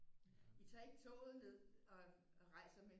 I tager ikke toget ned og rejser med